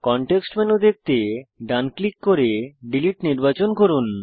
context menu দেখতে ডান click করে ডিলিট নির্বাচন করুন